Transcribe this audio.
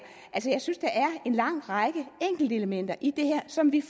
en lang række enkeltelementer i det her som vi